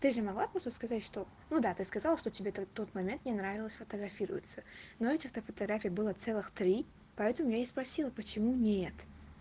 ты же могла просто сказать что ну да ты сказал что тебе то тот момент не нравилось фотографироваться но этих то фотографий было целых три поэтому я и спросила почему нет